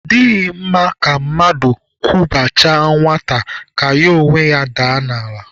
Ọ dịghị mma ka mmadụ kwụbachaa nwata ka ya onwe ya daa n'ala